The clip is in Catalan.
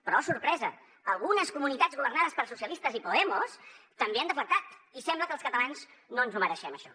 però oh sorpresa algunes comunitats governades per socialistes i podemos també han deflactat i sembla que els catalans no ens ho mereixem això